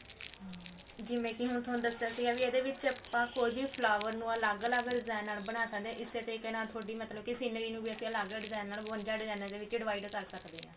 ਜਿਵੇਂ ਕੀ ਹੁਣ ਥੋਨੂੰ ਦੱਸਿਆ ਸੀ ਵੀ ਇਹਦੇ ਵਿੱਚ ਆਪਾਂ ਕੋਈ ਵੀ flower ਨੂੰ ਅਲੱਗ ਅਲੱਗ design ਨਾਲ ਬਣਾ ਸਕਦੇ ਹਾਂ ਇਸੇ ਤਰੀਕੇ ਨਾਲ ਥੋਡੀ ਮਤਲਬ ਕੀ scenery ਨੂੰ ਵੀ ਅਸੀਂ ਅਲੱਗ ਅਲੱਗ design ਨਾਲ ਬਵੰਜਾ design ਦੇ ਵਿੱਚ divide ਕਰ ਸਕਦੇ ਹਾ